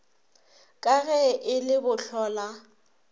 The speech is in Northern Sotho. ka ge e le bohlola